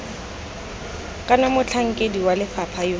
kana motlhankedi wa lefapha yo